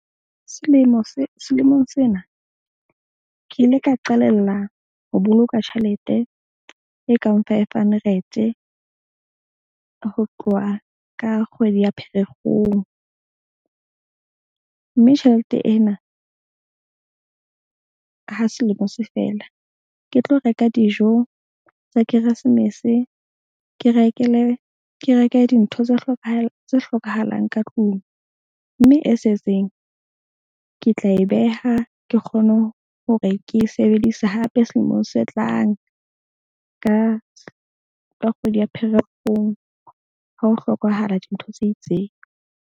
Selemo se selemong sena ke ile ka qalella ho boloka tjhelete e kang five hundred-e ho tloha ka kgwedi ya Pherekgong. Mme tjhelete ena ha selemo se fela, ke tlo reka dijo tsa keresemese. Ke rekele ke reke dintho tse tse hlokahalang ka tlung, mme e setseng ke tla e beha ke kgone hore ke sebedise hape selemong se tlang. Ka kgwedi ya Pherekgong, ha ho hlokahala dintho tse itseng.